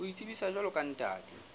ho itsebisa jwalo ka ntate